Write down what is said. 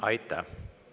Aitäh!